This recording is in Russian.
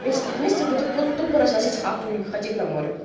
весь этот месяц будут тупо разносить хату и хотеть на море